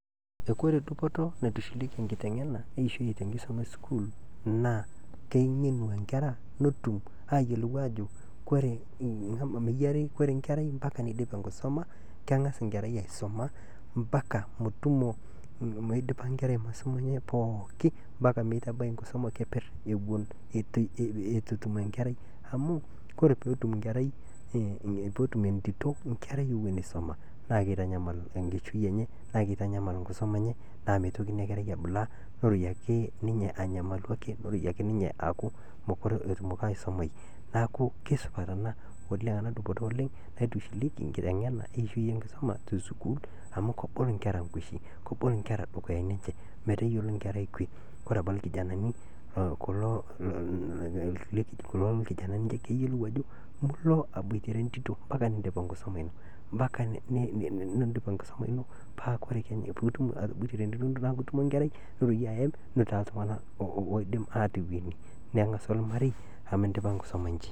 Ore dupoto naitushulieki enkitengena eishoi tenkisuma esukuul naa kengenu enkera netum aayelou aajo koree inkerai mpaka neidip enkisuma, kengas inkerai aisuma mpaka metumo meidipa inkera inkisuma enye pooki mpaka meitabai inkisuma keper eton etum inkerai amuu koree peetum entito inkerai ewen eisuma naa keitanyamal enkishui enye naa keitanyamal enkisuma naa meitoki ina kerai abulaa neroiye ake ninye aanyamalu ake neroiye ake ninye aaku mekore atumoki ninye aisumaii, naaku kesupat ana oleng ana dupoto oleng ana dupoto oleng naitushulieki enkitengena eishoi enkisuma te sukuul amu kebol inkerra nkwesi, kebol inkerra dukuyani enche meteyalo inkerrai kwe, ore abaki lkijanani kulo kijanani keyiolou ajo mulo abuatere entito mpaka niindip emkisuma ino mpaka niindim enkisuma ino paa kore piidnim atobuatere entito metaa ketumo inkerrai niroiye aem nitaa ltungana oidim aatoweni ningasu ormarei amu indipa enkisuma inchi.